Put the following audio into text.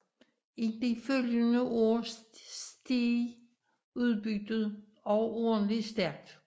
I de følgende år steg udbyttet overordentlig stærkt